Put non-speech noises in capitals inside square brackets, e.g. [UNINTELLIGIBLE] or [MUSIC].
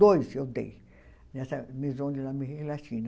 Dois eu dei nessa Maison de la [UNINTELLIGIBLE] Latine.